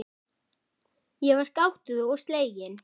Ég var gáttuð og slegin.